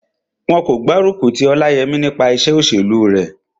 Wọn kò gbárùkù ti Ọláyẹmí nípa iṣẹ́ òṣèlú rẹ̀